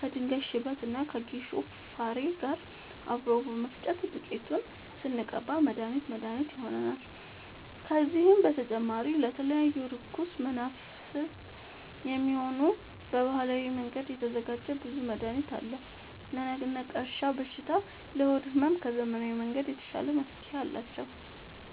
ከድንጋይ ሽበት እና ከጌሾ ፋሬ ጋር አብሮ በመፈጨት ዱቄቱን ስንቀባ መድሀኒት መድሀኒት ይሆነናል። ከዚህም በተጨማሪ ለተለያዩ እርኩስ መናፍት፣ የሚሆን በባህላዊ መንገድ የተዘጋጀ ብዙ መድሀኒት አለ። ለነቀርሻ በሽታ ለሆድ ህመም ከዘመናዊ መንገድ የተሻለ መፍትሄ አላቸው።